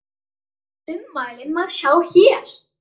Ummælin má sjá hér.